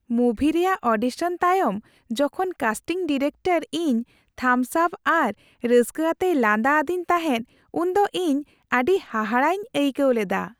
ᱢᱩᱵᱷᱤ ᱨᱮᱭᱟᱜ ᱚᱰᱤᱥᱚᱱ ᱛᱟᱭᱚᱢ ᱡᱚᱠᱷᱚᱱ ᱠᱟᱥᱴᱤᱝ ᱰᱤᱨᱮᱠᱴᱚᱨ ᱤᱧ ᱛᱷᱟᱢᱥ ᱟᱯ ᱟᱨ ᱨᱟᱹᱥᱠᱟᱹ ᱟᱛᱮᱭ ᱞᱟᱸᱫᱟ ᱟᱫᱤᱧ ᱛᱟᱦᱮᱸᱫ ᱩᱱ ᱫᱚ ᱤᱧ ᱟᱹᱰᱤ ᱦᱟᱦᱟᱲᱟᱜ ᱤᱧ ᱟᱹᱭᱠᱟᱹᱣ ᱞᱮᱫᱟ ᱾